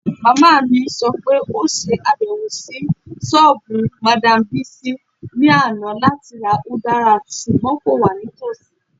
Mama mi sọ pe o ṣabẹwo si soobu Madam Bisi ni ana lati ra udara ṣugbọn ko wa nitosi